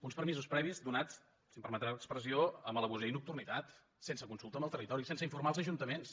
uns permisos previs donats si em permet l’expressió amb traïdoria i nocturnitat sense consulta amb el territori sense informar els ajuntaments